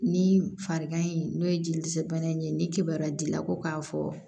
Ni farikan in n'o ye jeli dɛsɛ bana in ye ni kibaruya d'i la ko k'a fɔ